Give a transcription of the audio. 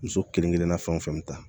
Muso kelen kelenna fɛn o fɛn bi taa